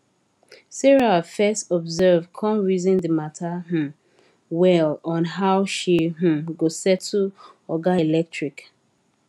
sarah fes observe come reason d matter um well on how she um go settle oga electric